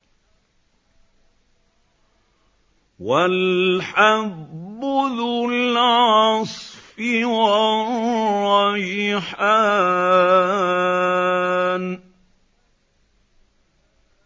وَالْحَبُّ ذُو الْعَصْفِ وَالرَّيْحَانُ